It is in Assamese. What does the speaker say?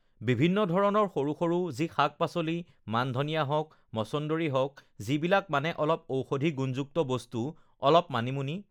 বিভিন্ন ধৰণৰ সৰু-সৰু যি শাক পাচলি ugh মানধনীয়া হওঁক মচোন্দৰী হওঁক যিবিলাক মানে অলপ ঔষধি গুণযুক্ত বস্তু অলপ মানিমুনি